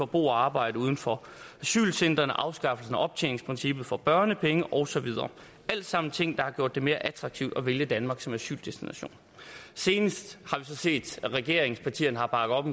bo og arbejde uden for asylcentrene afskaffelsen af optjeningsprincippet for børnepengene og så videre alt sammen ting der har gjort det mere attraktivt at vælge danmark som asyldestination senest har vi så set at regeringspartierne har bakket op